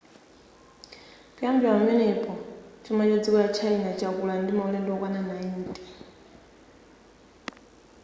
kuyambira pamenepo chuma cha dziko la china chakula ndi maulendo okwana 90